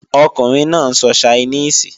Ọkùnrin náà ń sọ Ṣainíìsì